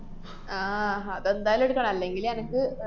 ആഹ് അതെന്തായാലും എട്ക്കണം. അല്ലെങ്കിലെനക്ക് ആഹ്